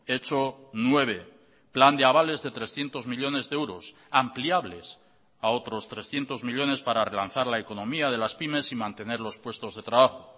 hecho nueve plan de avales de trescientos millónes de euros ampliables a otros trescientos millónes para relanzar la economía de las pymes y mantener los puestos de trabajo